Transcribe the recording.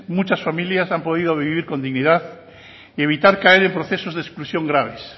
muchas familias han podido vivir con dignidad y evitar caer en procesos de exclusión graves